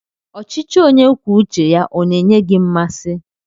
Ọchịchị onye kwuo uche ya ọ na-enye gị mmasị?